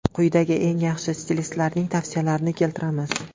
Quyida eng yaxshi stilistlarning tavsiyalarini keltiramiz.